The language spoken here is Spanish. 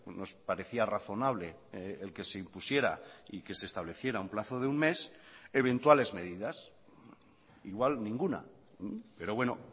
nos parecía razonable el que se impusiera y que se estableciera un plazo de un mes eventuales medidas igual ninguna pero bueno